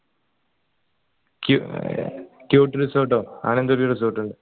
cute resort ഓ അങ്ങനെ എന്തോ resort ഇണ്ട്